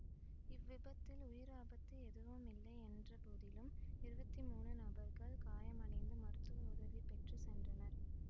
இவ்விபத்தில் உயிராபத்து ஏதுமில்லை என்றபோதிலும் இருவத்தி மூனு நபர்கள் காயமடைந்து மருத்துவ உதவி பெற்று சென்றனர்